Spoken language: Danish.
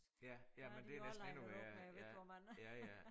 Ja ja men det er næsten endnu værre ja ja ja